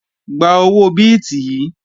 Gba owó bíìtì yìí!